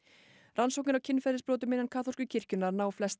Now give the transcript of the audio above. rannsóknir á kynferðisbrotum innan kaþólsku kirkjunnar ná flestar